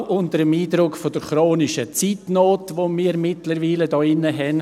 Dies auch unter dem Eindruck der chronischen Zeitnot, die wir hier mittlerweile haben.